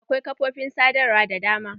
Akwai kafofin sadarwa da dama.